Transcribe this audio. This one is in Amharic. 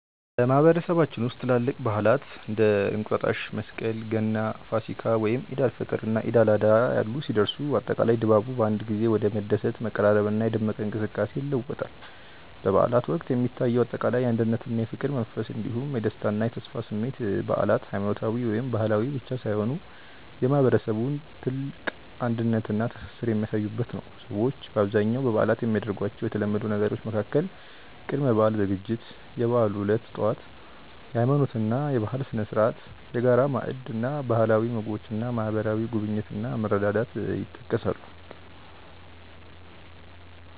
በማህበረሰባችን ውስጥ ትላልቅ በዓላት (እንደ እንቁጣጣሽ፣ መስቀል፣ ገና፣ ፋሲካ፣ ወይም ዒድ አል-ፈጥር እና ዒድ አል-አድሃ ያሉ) ሲደርሱ፣ አጠቃላይ ድባቡ በአንድ ጊዜ ወደ መደሰት፣ መቀራረብና የደመቀ እንቅስቃሴ ይለወጣል። በበዓላት ወቅት የሚታየው አጠቃላይ የአንድነትና የፍቅር መንፈስ እንዲሁም የደስታና የተስፋ ስሜት በዓላት ሃይማኖታዊ ወይም ባህላዊ ብቻ ሳይሆኑ የማህበረሰቡን ጥልቅ አንድነትና ትስስር የሚያሳዩበት ነው። ሰዎች በአብዛኛው በበዓላት የሚያደርጓቸው የተለመዱ ነገሮች መካከል ቅድመ-በዓል ዝግጅት፣ የበዓሉ ዕለት ጠዋት (የሃይማኖትና የባህል ስነ-ስርዓት)፣የጋራ ማዕድ እና ባህላዊ ምግቦች እና ማህበራዊ ጉብኝት እና መረዳዳት ይጠቀሳሉ።